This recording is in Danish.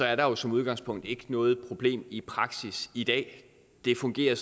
er der jo som udgangspunkt ikke noget problem i praksis i dag det fungerer